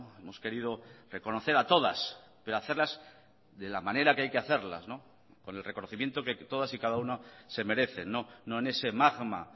hemos querido reconocer a todas pero hacerlas de la manera que hay que hacerlas con el reconocimiento que todas y cada una se merecen no en ese magma